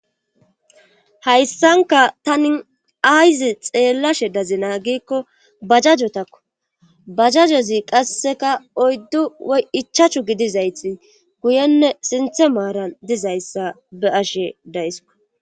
Hayssanka tani ayzi xeellashe dazina giikko bajajotakko bajajozi qasseka oyddu ichachu gidizayti guyenne sinthe maaran dizayssa be'ashe daysko